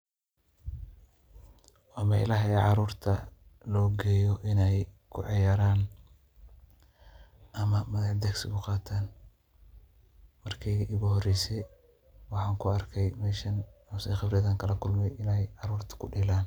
Wa meelaha caruurta ogiyoh inay kucuyaran amah madadahsi lo Qatoh markat ugu horrysay waxa ku arki sethi lo Qebratheni karoh Ina caruurta kudeelan..